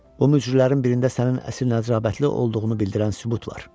Bu mücrülərin birində sənin əsil nəcabətli olduğunu bildirilən sübut var.